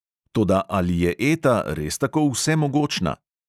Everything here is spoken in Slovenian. Toda ali je eta res tako vsemogočna?!